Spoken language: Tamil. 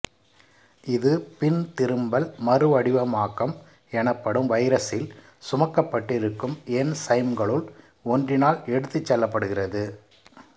இது பின்திரும்பல் மறுவடிவமாக்கம் எனப்படும் வைரஸில் சுமக்கப்பட்டிருக்கும் என்சைம்களுள் ஒன்றினால் எடுத்துச் செல்லப்படுகிறது